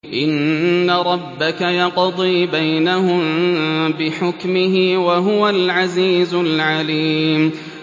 إِنَّ رَبَّكَ يَقْضِي بَيْنَهُم بِحُكْمِهِ ۚ وَهُوَ الْعَزِيزُ الْعَلِيمُ